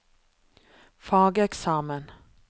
fageksamen